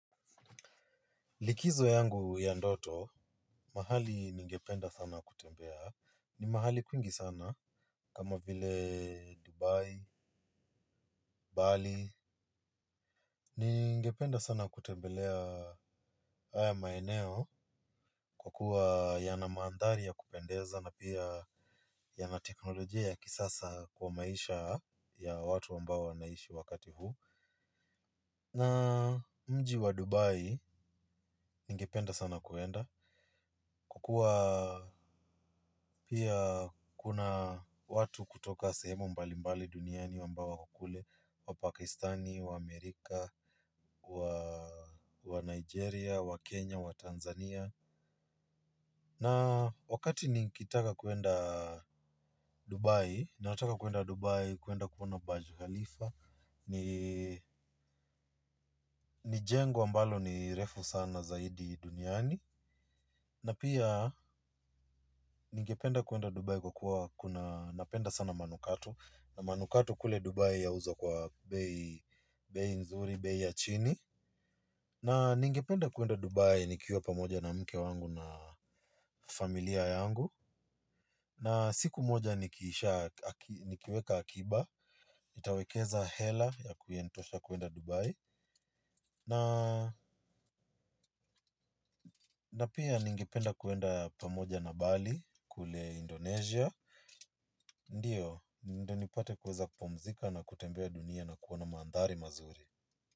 Likizo yangu ya ndoto, mahali ningependa sana kutembea. Ni mahali kuingi sana kama vile Dubai, Bali. Ningependa sana kutembelea haya maeneo kwa kuwa yana maandhari ya kupendeza na pia yana teknolojia ya kisasa kwa maisha ya watu ambao naishi wakati huu. Na mji wa Dubai ningependa sana kuenda. Kukua pia kuna watu kutoka sehemu mbali mbali duniani wambao wako kule wa Pakistani, wa Amerika, wa Nigeria, wa Kenya, wa Tanzania. Na wakati ni kitaka kuenda Dubai, ni nataka kuenda Dubai kuenda kuona baju halifa, ni jengo ambalo ni refu sana zaidi duniani, na pia ningependa kuenda dubai kwa kuwa kuna napenda sana manukato na manukato kule dubai yauzwa kwa bei nzuri bei ya chini na ningependa na pia ningipenda kuenda pamoja na Bali, kule Indonesia. Ndiyo, ndo nipate kuweza kupomzika na kutembea duniani na kuona maandhari mazuri.